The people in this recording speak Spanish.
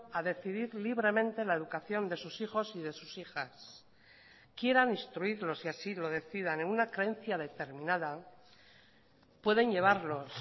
a decidir libremente la educación de sus hijos y de sus hijas quieran instruirlos y así lo decidan en una creencia determinada pueden llevarlos